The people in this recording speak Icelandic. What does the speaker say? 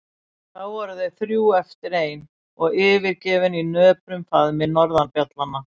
Þá voru þau þrjú eftir ein og yfirgefin í nöprum faðmi norðurfjallanna.